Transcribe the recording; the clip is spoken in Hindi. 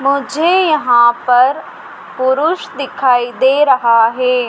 मुझे यहां पर पुरुष दिखाई दे रहा है।